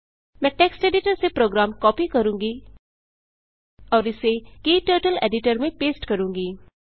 मैं text editor से program copy करूँगी और इसे क्टर्टल एडिटर में पेस्ट करूँगी